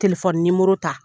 Telefɔni ta.